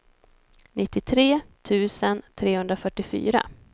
nittiotre tusen trehundrafyrtiofyra